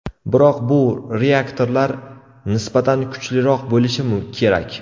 Biroq bu reaktorlar nisbatan kuchliroq bo‘lishi kerak.